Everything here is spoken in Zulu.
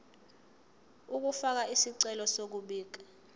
ukufaka isicelo sokubika